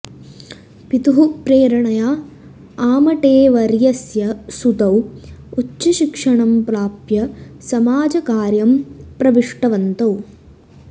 पितुः प्रेरणया आमटेवर्यस्य सुतौ उच्चशिक्षणं प्राप्य समाजकार्यं प्रविष्टवन्तौ